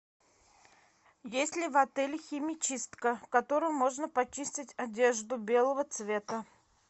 есть ли в отеле химчистка в которой можно почистить одежду белого цвета